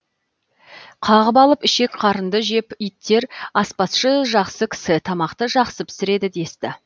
қағып алып ішек қарынды жеп иттер аспазшы жақсы кісі тамақты жақсы пісіреді десті